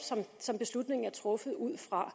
som beslutningen er truffet ud fra